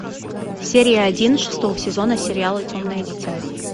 серия один шестого сезона сериала темное дитя